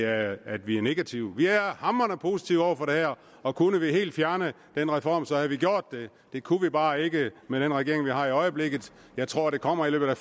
at vi er negative vi er hamrende positive over for det her og kunne vi helt fjerne denne reform så havde vi gjort det det kunne vi bare ikke med den regering vi har i øjeblikket jeg tror det kommer i løbet af